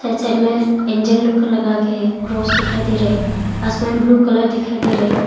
Right side मे angle look लगा के है क्रॉस दिखाई दे रहा है आसमान ब्लू कलर दिखाई दे रहा है।